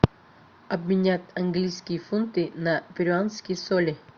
обменять английские фунты на перуанские соли